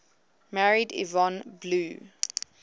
married yvonne blue